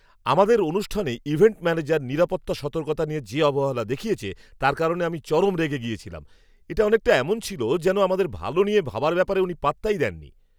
আমাদের অনুষ্ঠানে event manager নিরাপত্তা সতর্কতা নিয়ে যে অবহেলা দেখিয়েছে তার কারণে আমি চরম রেগে গেছিলাম। এটা অনেকটা এমন ছিল যেন আমাদের ভালো নিয়ে ভাবার ব্যাপারে উনি পাত্তাই দেননি!